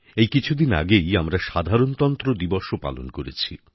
এই কিছুদিন আগেই আমরা সাধারণতন্ত্র দিবসও পালন করেছি